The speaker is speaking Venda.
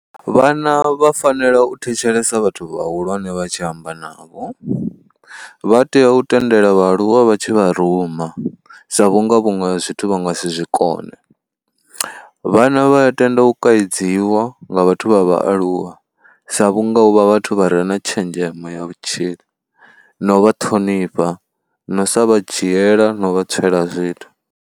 Vhana vha fanela u thetshelesa vhathu vhahulwane vha tshi amba navho, vha tea u tendela vhaaluwa vha tshi vha ruma sa vhunga vhuṅwe zwithu vha nga si zwi kone. Vhana vha ya tenda u kaidziwa nga vhathu vha vhaaluwa sa vhunga u vha vhathu vha re na tshenzhemo ya vhutshilo na u vha ṱhonifha na u sa vha dzhiela na u vha tswela zwithu.